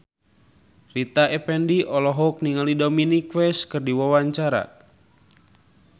Rita Effendy olohok ningali Dominic West keur diwawancara